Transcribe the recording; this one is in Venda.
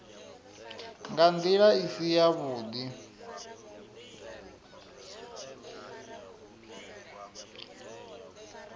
nga nḓila i si yavhuḓi